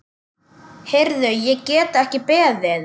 Heyrðu, ég get ekki beðið.